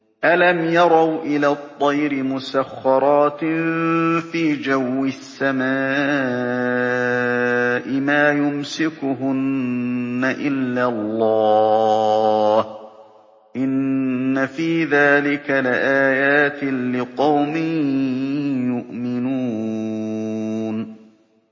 أَلَمْ يَرَوْا إِلَى الطَّيْرِ مُسَخَّرَاتٍ فِي جَوِّ السَّمَاءِ مَا يُمْسِكُهُنَّ إِلَّا اللَّهُ ۗ إِنَّ فِي ذَٰلِكَ لَآيَاتٍ لِّقَوْمٍ يُؤْمِنُونَ